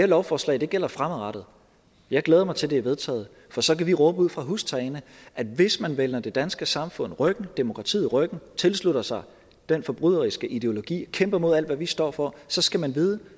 lovforslag gælder fremadrettet jeg glæder mig til at det er vedtaget for så kan vi råbe ud fra hustagene at hvis man vender det danske samfund ryggen demokratiet ryggen tilslutter sig den forbryderiske ideologi og kæmper mod alt hvad vi står for så skal man vide